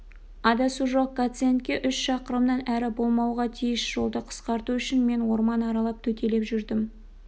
адасу жоқ гациенд үш шақырымнан әрі болмауға тиіс жолды қысқарту үшін мен орман аралап төтелеп жүрдім